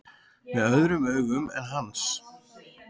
Með öðrum augum en hans.